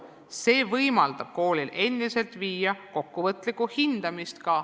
See võimaldab endiselt kasutada koolil põhikooli lõpus kokkuvõtlikku hindamist.